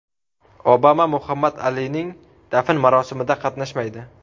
Obama Muhammad Alining dafn marosimida qatnashmaydi.